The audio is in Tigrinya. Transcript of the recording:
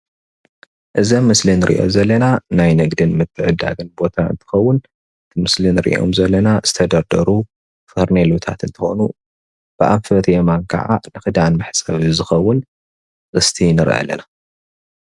እዚ ኣብ ምስሊ ንርኦ ዘለና ናይ ንግድን ምዕድዳግን ቦታ እንትከውን ምስሊ ንርኦም ዘለና ዝተደርደሩ ፋርኖሌታት ኮይኑ ብኣንፈት የማን ካዓ ክዳን መሕፀቢ ዝከውን ጥስቲ ንርኢ ኣለና።